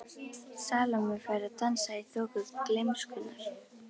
Salóme fær að dansa í þoku gleymskunnar.